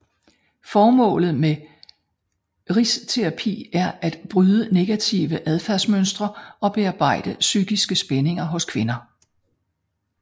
Formålet med risterapi er at bryde negative adfærdsmønstre og bearbejde psykiske spændinger hos kvinder